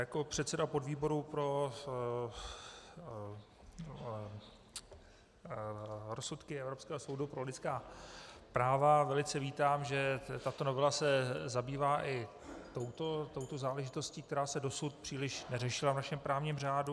Jako předseda podvýboru pro rozsudky Evropského soudu pro lidská práva velice vítám, že tato novela se zabývá i touto záležitostí, která se dosud příliš neřešila v našem právním řádu.